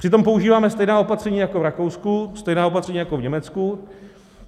Přitom používáme stejná opatření jako v Rakousku, stejná opatření jako v Německu.